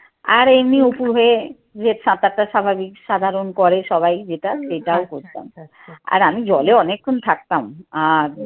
আর এমনি অপুর হয়ে যে সাতারটা স্বাভাবিক সাধারণ করে সবাই যেটা সেটাও করতাম। আর আমি জলে অনেক্ষন থাকতাম। আহ